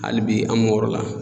Hali bi an m'o yɔrɔ la